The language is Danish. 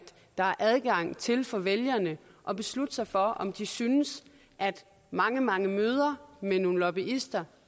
der er adgang til for vælgerne at beslutte sig for om de synes at mange mange møder med nogle lobbyister